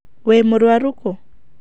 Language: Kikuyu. Wĩ mũrũaru kũũ.